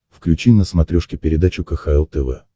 включи на смотрешке передачу кхл тв